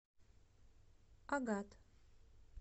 агат